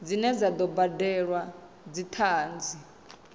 dzine dza do badelwa dzithanzi